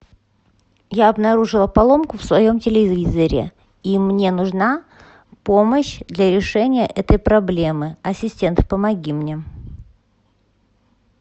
я обнаружила поломку в своем телевизоре и мне нужна помощь для решения этой проблемы ассистент помоги мне